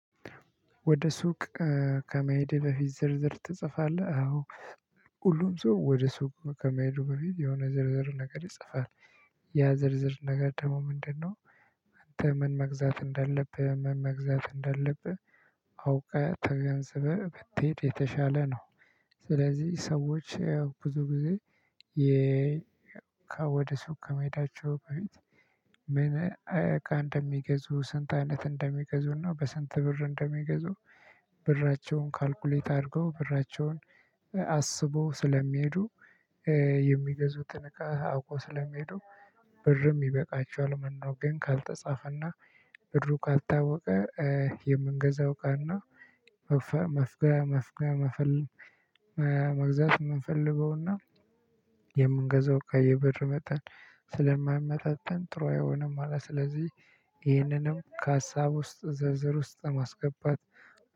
ወደ ሱቅ ከመሄዴ በፊት ዝርዝር ትጽፋለህ? አዎ። ሁሉም ሰው ወደ ሱቅ ከመሄዱ በፊት የሆነ ዝርዝር ነገር ይጽፋል። ያ ዝርዝር ነገር ደግሞ ምንድነው? አንተ ምን መግዛት እንዳለብህ ምን መግዛት እንዳለብህ? አውቀህ ተገንዝበህ ብትሄድ የተሻለ ነው። ስለዚህ ሰዎች ብዙ ጊዜ የ ወደ ሱቅ ከመሄዳቸው በፊት ምን እቃ እንደሚገዙ ስንት አይነት እንደሚገዙና በስንት ብር እንደሚገዙ ብራቸውን ካልኩሌት አድርገው ብራቸውን አስበው ስለሚሄዱ። እቃ አውቆ ስለሚሄዱ ብርም ይበቃቸዋል። ነገር ግን ካልተጻፈና ብሩ ካልታወቀ የምንገዛው እቃእና መፍጋ መፍጋ መፍለል መግዛት የምንፈልገውና የምንገዛው ከየብር መጠን ስለማይመጣጠን ጥሩ አይሆንም። ማለት ስለዚህ ይህንንም ከሀሳብ ውስጥ ዝርዝር ውስጥ ማስገባት